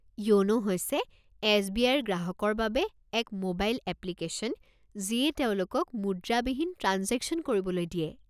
য়োনো হৈছে S B I ৰ গ্ৰাহকৰ বাবে এক ম'বাইল এপ্লিকেশ্যন যিয়ে তেওঁলোকক মুদ্ৰাবিহীন ট্ৰাঞ্জেকশ্যন কৰিবলৈ দিয়ে।